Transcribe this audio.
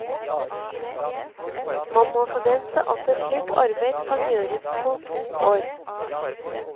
Man må forvente at et slikt arbeid kan gjøres på to år.